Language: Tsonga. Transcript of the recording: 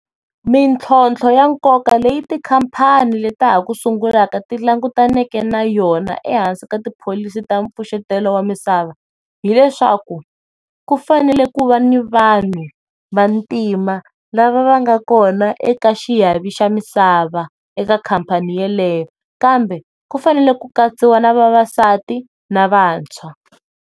Mintlhotlho ya nkoka leyi tikhampani le ta ha ku sungulaka ti langutaneke na yona ehansi ka tipholisi ta pfuxetelo wamisava hileswaku ku fanele ku va ni vanhu vantima lava nga kona eka xiyavi xa misava eka khampani yaleyo kambe ku fanele ku katsiwa navavasati na vantshwa.